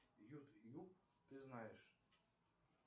ютуб ты знаешь